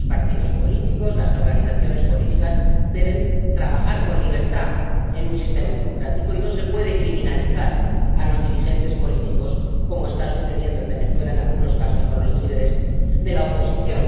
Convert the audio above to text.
Los partidos políticos, las organizaciones políticas deben trabajar con libertad en un sistema democrático y no se puede criminalizar a los dirigentes políticos como está sucediendo en Venezuela en algunos casos con los líderes de la oposición.